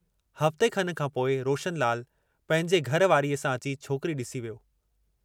हफ़्ते खन खां पोइ रोशनलाल पंहिंजे घर वारीअ सां अची छोकिरी ॾिसी वियो।